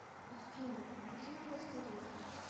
афина какие у вас тарифы